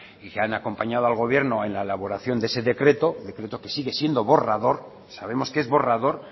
y que han acompañado al gobierno en la elaboración de ese decreto decreto que sigue siendo borrador sabemos que es borrador